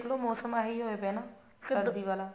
ਚਲੋ ਮੋਸਮ ਇਹੀ ਹੋਇਆ ਪਿਆ ਨਾ ਸਰਦੀ ਆਲਾ